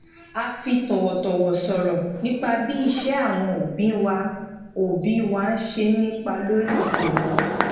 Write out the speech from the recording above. a fi tòwòtòwò sọro nipa bi ise awon obi awon obi wa se n nípa lórí ìpinnu wa